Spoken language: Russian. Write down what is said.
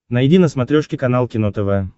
найди на смотрешке канал кино тв